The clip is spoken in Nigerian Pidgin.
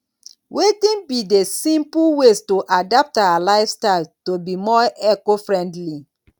wetin be di simple ways to adapt our lifestyle to be more ecofriendly